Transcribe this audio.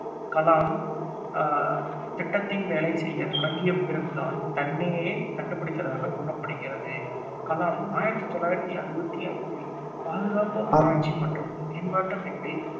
கலாம் அஹ் திட்டத்தில் வேலை செய்ய தொடங்கிய பிறகுதான் தன்னையே கண்டுபிடித்ததாகக் கூறப்படுகிறது. கலாம் ஆயிரத்தி தொள்ளாயிரத்தி அறுபத்தி ஐந்தில் பாதுகாப்பு ஆராய்ச்சி மற்றும் மேம்பாட்டு அமைப்பில்